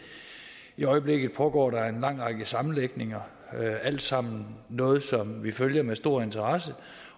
i øjeblikket pågår der en lang række sammenlægninger er alt sammen noget som vi følger med stor interesse